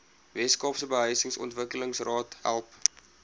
weskaapse behuisingsontwikkelingsraad help